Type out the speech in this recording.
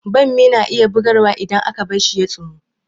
Bammi na iya bugarwa idan aka bar shi ya tsumu